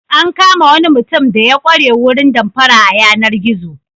An kama wani mutum da ya ƙware wurin damfara a yanar-gizo.